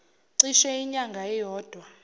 cishe inyanga eyodwa